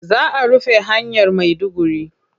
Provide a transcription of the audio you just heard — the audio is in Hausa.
Za a rufe hanyar Maiduguri.